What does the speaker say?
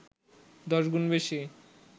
১০ গুণ বেশি